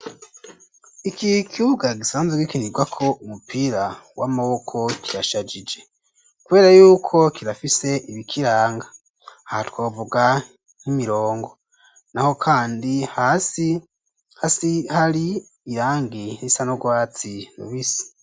Iki kibuga gisanzwe gikonirwako umupira w'amaboko kirashajije, kubera yuko kirafise ibikiranga, aha twavuga nk'imirongo, naho kandi hasi hari irangi risa n'ugwatsi rubisi.